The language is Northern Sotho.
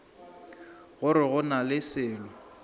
gore go na le selo